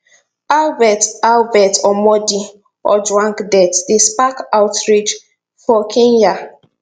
albert albert omondi ojwang death dey spark outrage for kenya